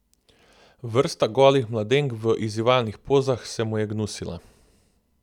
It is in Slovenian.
Vrsta golih mladenk v izzivalnih pozah se mu je gnusila.